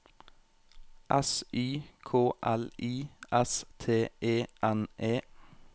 S Y K L I S T E N E